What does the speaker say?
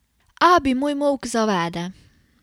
Abi moj molk zavede.